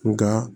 Nka